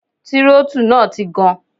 Tírótù náà ti gan.